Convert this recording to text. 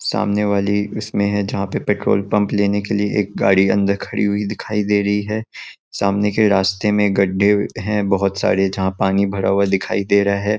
सामने वाली इसमें है जहाँ पे पेट्रोल पंप लेने के लिए एक गाड़ी अंदर खड़ी हुई दिखाई दे रही है। सामने के रस्ते में एक गड्ढे है। बहोत सारे जहाँ पे पानी भरा हुआ दिखाई दे रहा हैं।